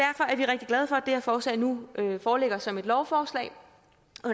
her forslag nu foreligger som et lovforslag